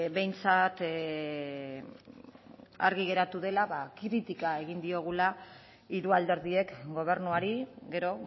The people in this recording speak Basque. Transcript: behintzat argi geratu dela ba kritika egin diogula hiru alderdiek gobernuari gero